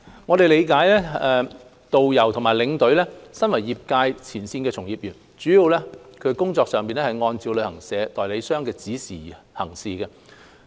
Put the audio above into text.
我們理解導遊和領隊身為業界前線從業員，工作上主要按照旅行代理商的指示行事。